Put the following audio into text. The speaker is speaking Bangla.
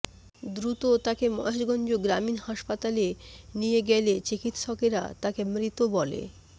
দ্রুত তাকে মহেশগঞ্জ গ্রামীণ হাসপাতালে নিয়ে গেলে চিকিৎসকেরা তাকে মৃত বলে